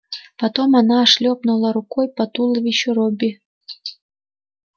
потом она шлёпнула рукой по туловищу робби